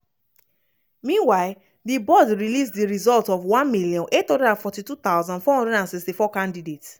meanwhile di board release di results of 1842 464 candidates.